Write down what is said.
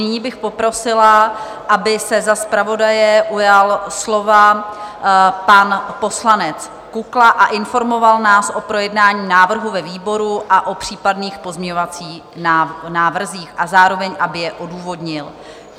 Nyní bych poprosila, aby se za zpravodaje ujal slova pan poslanec Kukla a informoval nás o projednání návrhu ve výboru a o případných pozměňovacích návrzích a zároveň aby je odůvodnil.